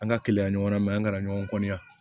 An ka kɛlɛya ɲɔgɔnna an kana ɲɔgɔn ya